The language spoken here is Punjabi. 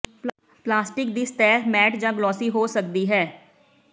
ਪਲਾਸਟਿਕ ਦੀ ਸਤਹ ਮੈਟ ਜਾਂ ਗਲੋਸੀ ਹੋ ਸਕਦੀ ਹੈ